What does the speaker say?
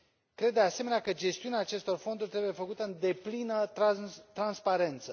Cred, de asemenea, că gestiunea acestor fonduri trebuie făcută în deplină transparență.